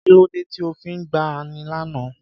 Kí ló dé tí o fi gbá a ní àná?